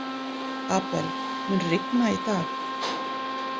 Abel, mun rigna í dag?